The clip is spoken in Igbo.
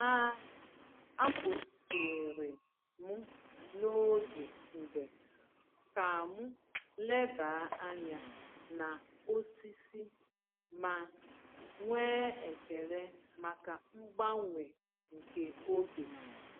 A A kwụsịrị m n’oge njem ka m leba anya na osisi ma nwee ekele maka mgbanwe nke oge.